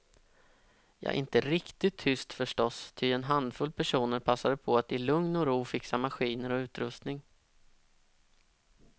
Ja, inte riktigt tyst förstås, ty en handfull personer passade på att i lugn och ro fixa maskiner och utrustning.